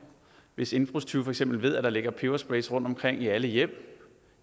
hvis indbrudstyve for eksempel ved at der ligger peberspray rundtomkring i alle hjem